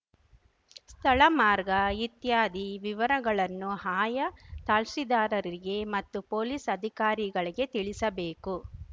ಸ್ಥಳ ಮಾರ್ಗ ಇತ್ಯಾದಿ ವಿವರಗಳನ್ನು ಆಯಾ ತಹಶೀದಾರರಿಗೆ ಮತ್ತು ಪೊಲೀಸ್‌ ಅಧಿಕಾರಿಗಳಿಗೆ ತಿಳಿಸಬೇಕು